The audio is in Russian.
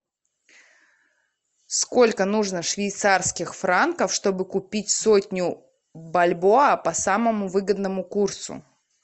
сколько нужно швейцарских франков чтобы купить сотню бальбоа по самому выгодному курсу